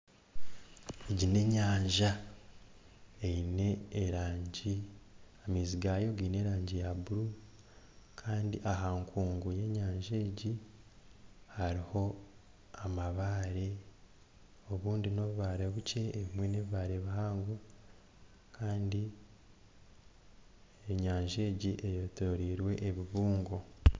Egi nenyanja eine erangi amaizi gaayo gaine erangi ya buru Kandi aha nkungu yenyanja egi hariho amabaare obundi nobubaare bukye ebindi nebibaare bihango Kandi enyanja egi eyetoreirwe ebibungo